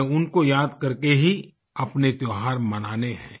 हमें उनको याद करके ही अपने त्योहार मनाने हैं